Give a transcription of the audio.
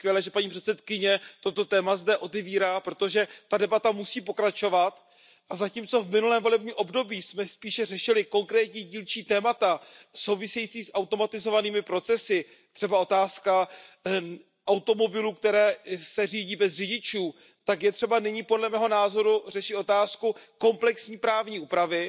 Je skvělé, že paní předsedkyně toto téma zde otevírá, protože debata musí pokračovat a zatímco v minulém volebním období jsme spíše řešili konkrétní dílčí témata související s automatizovanými procesy, třeba otázku automobilů, které se řídí bez řidičů, tak je třeba nyní podle mého názoru řešit otázku komplexní právní úpravy